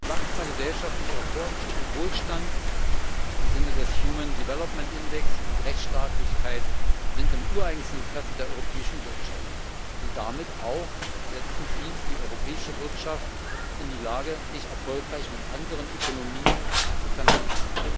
Wachsender gesellschaftlicher Wohlstand im Sinne des human development index und Rechtsstaatlichkeit sind im ureigensten Interesse der europäischen Wirtschaft, und damit setzen Sie auch die europäische Wirtschaft in die Lage, sich erfolgreich mit anderen Ökonomien zu vernetzen.